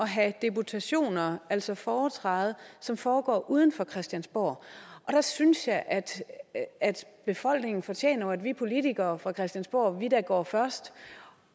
have deputationer altså foretræde som foregår uden for christiansborg der synes jeg at befolkningen fortjener at vi politikere fra christiansborg går først